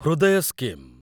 ହୃଦୟ ସ୍କିମ୍